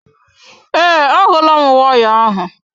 Ee, ahulam waya ahụ.